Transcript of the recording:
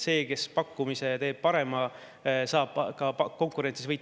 See, kes teeb parema pakkumise, saab ka konkurentsis võita.